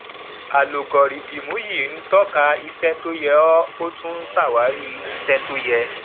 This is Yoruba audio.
alugọrídìmù yìí ń tọka iṣẹ tó yé ọ ó tún ṣàwárí iṣẹ tó yẹ